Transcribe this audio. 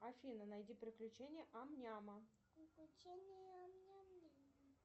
афина найди приключения ам няма